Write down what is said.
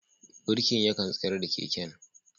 Birkin yakan tsayar da keken.